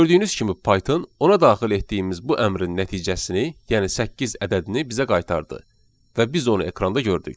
Gördüyünüz kimi Python ona daxil etdiyimiz bu əmrin nəticəsini, yəni səkkiz ədədini bizə qaytardı və biz onu ekranda gördük.